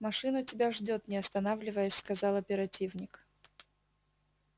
машина тебя ждёт не останавливаясь сказал оперативник